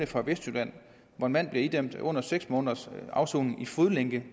fra vestjylland hvor en mand blev idømt under seks måneders afsoning i fodlænke